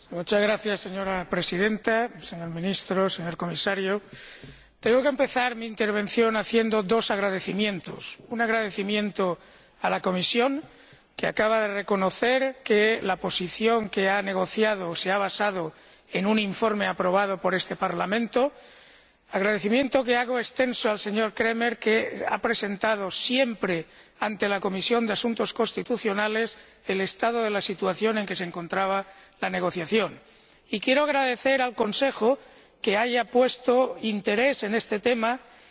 Señora Presidenta, señor Ministro, señor Comisario, tengo que empezar mi intervención expresando dos agradecimientos un agradecimiento a la Comisión, que acaba de reconocer que ha negociado o se ha basado en un informe aprobado por este Parlamento, agradecimiento que hago extenso al señor Kremer, que ha presentado siempre ante la Comisión de Asuntos Constitucionales el estado de la situación en que se encontraba la negociación, y un agradecimiento al Consejo por el hecho de que haya puesto interés en este tema y